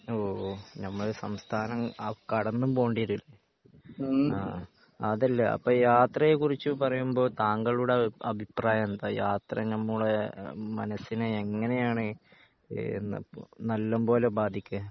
ഓഹ് നമ്മുടെ സംസ്ഥാനം കടന്നും പോവേണ്ടെരും അല്ലെ. ആഹ് അതല്ല അപ്പൊ യാത്രയെ കുറിച്ച് പറയുമ്പോൾ താങ്കളുടെ അഭിപ്രായം എന്താ യാത്ര നമ്മളെ മനസിനെ എങ്ങിനെയാണ് എന്നപോ നല്ലമ്പോലെ ബാധിക്കേ